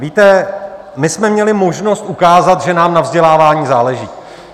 Víte, my jsme měli možnost ukázat, že nám na vzdělávání záleží.